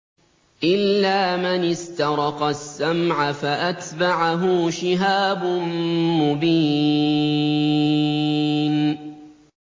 إِلَّا مَنِ اسْتَرَقَ السَّمْعَ فَأَتْبَعَهُ شِهَابٌ مُّبِينٌ